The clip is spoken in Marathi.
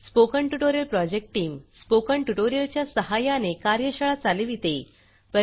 spoken tutorial project team spoken tutorial च्या सहाय्याने कार्यशाळा चालविते